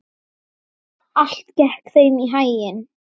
Allt gekk þeim í haginn.